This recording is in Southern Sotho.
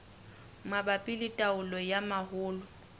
mabapi le taolo ya mahola